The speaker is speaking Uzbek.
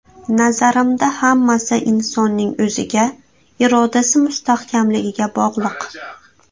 Nazarimda hammasi insonning o‘ziga, irodasi mustahkamligiga bog‘liq.